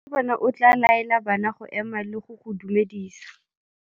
Morutabana o tla laela bana go ema le go go dumedisa.